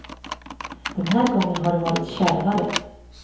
Den här gången har det varit kärvare.